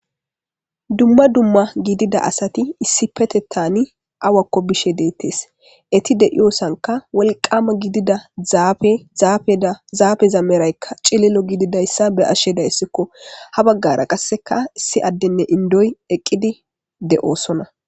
Dumma dumma gidida asati issipetettani awakko bishe deettes eti deiyosanka wolqama gidida zafe zaafeza meraykka cilelo gididayssa be'ashe dayssikko ha baggara qasseka issi addenne indoy eqqidi de'oosona